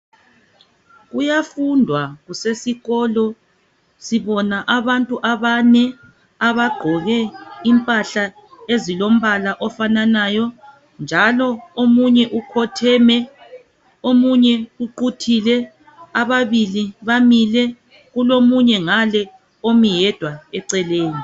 Kuyafundwa kusesikolo sibona abantu abane abagqoke impahla ezilombala ofananayo njalo omunye ukhotheme omunye uquthile ababili bamile kulomunye ngale omi yedwa eceleni.